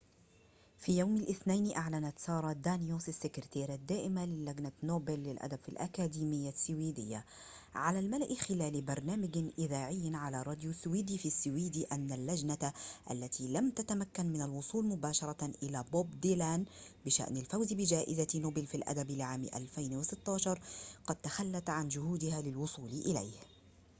في يوم الاثنين، أعلنت سارة دانيوس -السكرتيرة الدائمة للجنة نوبل للأدب في الأكاديمية السويدية- على الملأ خلال برنامج إذاعي على راديو السويد في السويد، أن اللجنة -التي لم تتمكن من الوصول مباشرة إلى بوب ديلان بشأن الفوز بجائزة نوبل في الأدب لعام 2016- قد تخلت عن جهودها للوصول إليه